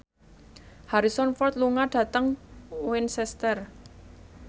Harrison Ford lunga dhateng Winchester